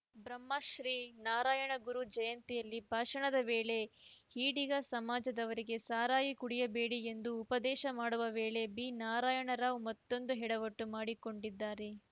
ಬ್ರಹ್ಮಶ್ರೀ ನಾರಾಯಣಗುರು ಜಯಂತಿಯಲ್ಲಿ ಭಾಷಣದ ವೇಳೆ ಈಡಿಗ ಸಮಾಜದವರಿಗೆ ಸರಾಯಿ ಕುಡಿಯಬೇಡಿ ಎಂದು ಉಪದೇಶ ಮಾಡುವ ವೇಳೆ ಬಿನಾರಾಯಣರಾವ್‌ ಮತ್ತೊಂದು ಎಡವಟ್ಟು ಮಾಡಿಕೊಂಡಿದ್ದಾರೆ